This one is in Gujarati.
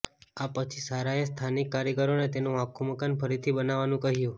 આ પછી સારાએ સ્થાનિક કારીગરોને તેનું આખું મકાન ફરીથી બનાવવાનું કહ્યું